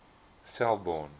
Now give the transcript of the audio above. selborne